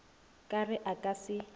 ka re a ka se